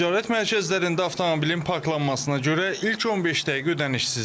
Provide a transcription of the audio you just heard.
Ticarət mərkəzlərində avtomobilin parklanmasına görə ilk 15 dəqiqə ödənişsizdir.